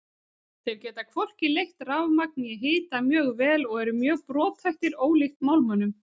Þeir geta hvorki leitt rafmagn né hita mjög vel og eru mjög brothættir ólíkt málmunum.